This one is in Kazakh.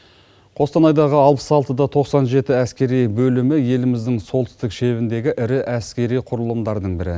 қостанайдағы алпыс алтыда тоқсан жеті әскери бөлімі еліміздің солтүстік шебіндегі ірі әскери құрылымдардың бірі